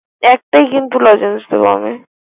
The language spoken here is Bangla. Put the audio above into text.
একটাই কিন্তু লজেন্স দিব আমি।